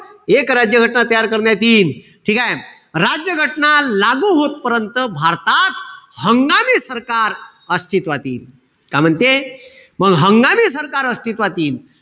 एक राज्य घटना तयार करण्यात येईल. ठीकेय? राज्य घटना लागू होतपर्यंत भारतात हंगामी सरकार अस्तित्वात येईल. काय म्हणते? मंग हंगामी सरकार अस्तित्वात यील.